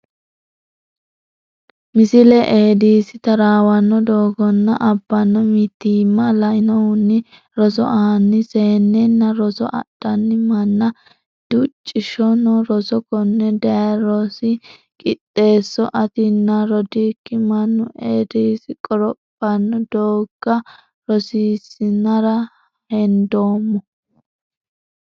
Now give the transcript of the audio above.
Misile Eeedisi taraawanno doogganna abbanno mitiimma lainohunni roso aanni seennenna roso adhanni manna Duchishono roso konne daye rosi Qixxeesso Atinna rodookki mannu Eedisi qorophanno doogga rosiissinara hendoommo.